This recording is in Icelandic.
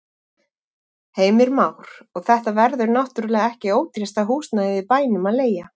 Heimir Már: Og þetta verður náttúrulega ekki ódýrasta húsnæðið í bænum að leigja?